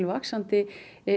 vaxandi